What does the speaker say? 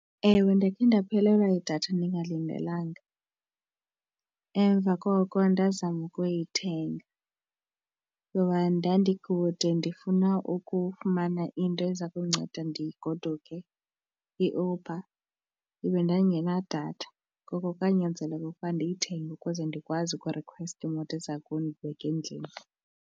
Ewe, ndakhe ndaphelelwa yidatha ndingalindelanga, emva koko ndazama ukuyithenga kuba ndandikude ndifuna ukufumana into eza kundinceda ndigoduke iUber ibe ndandingenadatha ngoko kwanyanzeleka ukuba ndiyithenge ukuze ndikwazi ukurikhweta imoto eza kundibeka endlini.